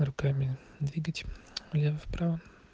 руками двигать влево вправо